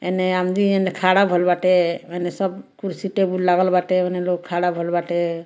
एने खाड़ा भइल बाटे एने सब कुर्सी टेबुल लागल बाटे ओने लोग खाड़ा भइल बाटे।